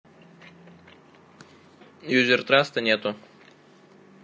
юзер траста нету